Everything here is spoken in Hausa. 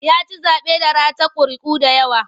Ya ci zaɓe da ratar ƙuri'u da yawa.